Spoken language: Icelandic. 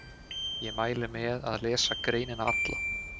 Ég mæli með að lesa greinina alla.